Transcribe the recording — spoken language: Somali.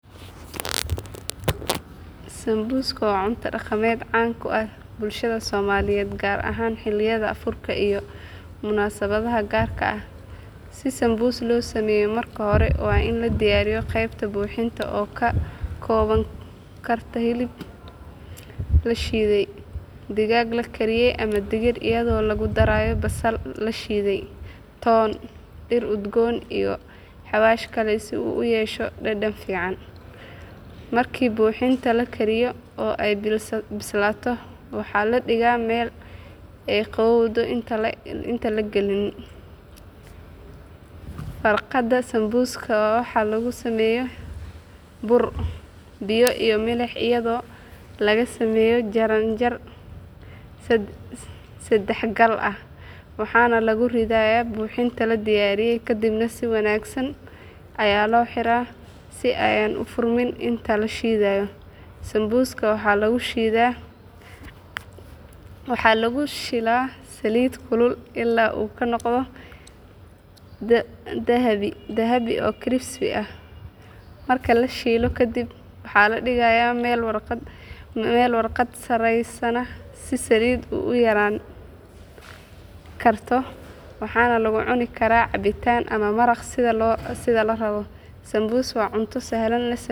Sambuska waa cunto dhaqameed caan ka ah bulshada Soomaaliyeed gaar ahaan xilliyada afurka iyo munaasabadaha gaarka ah. Si sambus loo sameeyo marka hore waa in la diyaariyo qaybta buuxinta oo ka koobnaan karta hilib la shiiday, digaag la kariyey ama digir iyadoo lagu darayo basal la shiiday, toon, dhir udgoon iyo xawaash kale si uu u yeesho dhadhan fiican. Markii buuxinta la kariyo oo ay bislaato waxaa la dhigaa meel ay qabowdo intaan la gelin. Farqada sambuska waxaa lagu sameeyaa bur, biyo iyo milix iyadoo laga sameeyo jaran jaran saddexagal ah waxaana lagu ridayaa buuxinta la diyaariyey kadibna si wanaagsan ayaa loo xiraa si ayan u furmin inta la shiilayo. Sambuska waxaa lagu shiilaa saliid kulul ilaa uu ka noqdo dahabi oo crispy ah. Marka la shiilo kadib waxaa la dhigayaa meel warqad saaranyahay si saliidda u yaraan karto waxaana lagu cuni karaa cabitaan ama maraq sida la rabo. Sambus waa cunto sahlan la sameeyo.